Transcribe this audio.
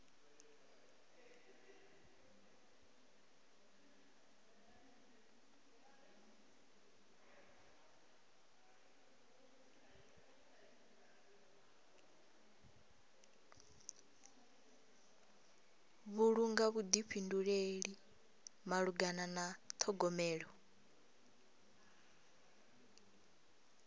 vhulunga vhuḓifhinduleli malugana na ṱhogomelo